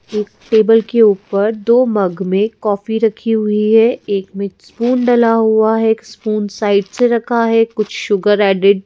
एक टेबल के ऊपर दो मग में काफी रखी हुई है एक में स्पून डला हुआ है एक स्पून साइड से रखा है कुछ शुगर ऐडेड --